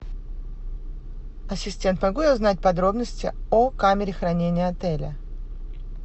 ассистент могу я узнать подробности о камере хранения отеля